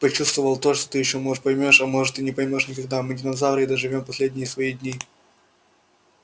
почувствовал то что ты ещё может поймёшь а может и не поймёшь никогда мы динозавры и доживём последние свои дни